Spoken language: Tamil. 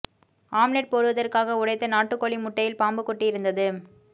ஆம்லெட் போடுவதற்காக உடைத்த நாட்டு கோழி முட்டையில் பாம்பு குட்டி இருந்தது